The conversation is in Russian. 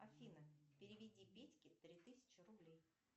афина переведи петьке три тысячи рублей